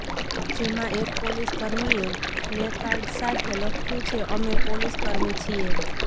જેમાં એક પોલીસ કર્મીએ પ્લેકાર્ડ સાથે લખ્યું છે અમે પોલીસ કર્મી છીએ